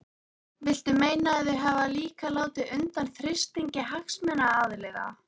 Viltu meina að þau hafi líka látið undan þrýstingi hagsmunaaðila?